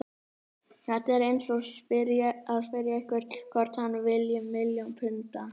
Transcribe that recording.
Þetta er eins og að spyrja einhvern hvort hann vilji milljón punda.